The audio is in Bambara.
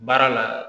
Baara la